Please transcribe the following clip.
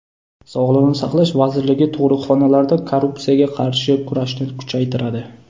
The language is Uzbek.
Sog‘liqni saqlash vazirligi tug‘ruqxonalarda korrupsiyaga qarshi kurashni kuchaytiradi.